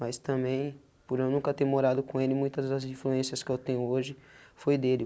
Mas também, por eu nunca ter morado com ele, muitas das influências que eu tenho hoje foi dele.